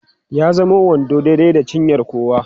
ya zamo wando daidai da cinyar kowa